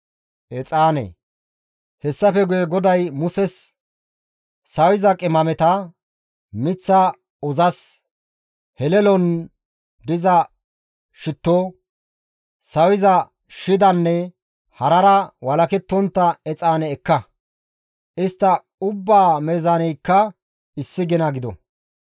Hessafe guye GODAY Muses, «Sawiza qimameta, miththa uzas, helelon diza shitto, sawiza shidanne harara walakettontta exaane ekka; istta ubbaa meezaaneykka issi gina gido.